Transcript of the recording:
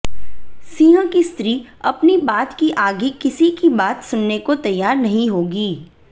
सिंह की स्त्री अपनी बात की आगे किसी की बात सुनने को तैयार नहीं होगी